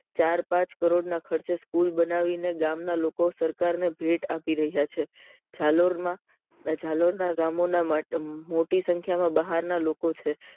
ચાર પાંચ કરોડ ના ખર્ચે સ્કૂલ બનાવીને ગામ ના લોકો સરકાર ને ભેટ આપી રહ્યા છે જાલોર માં જાલોર ના ગામો ના મત મોટી સંખ્યા બહાર ના લોકો છે